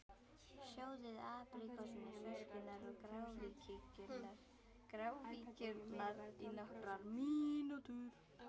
Sjóðið apríkósurnar, sveskjurnar og gráfíkjurnar í nokkrar mínútur.